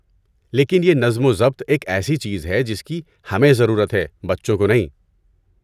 لیکن یہ نظم و ضبط ایک ایسی چیز ہے جس کی ہمیں ضرورت ہے، بچوں کو نہیں۔